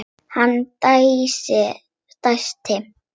Hann dæsti.